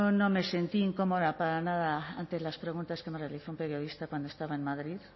no me sentí incómoda para nada ante las preguntas que me realizó un periodista cuando estaba en madrid